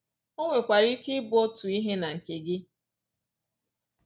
O nwekwara ike i bụ otu ihe na nke gi.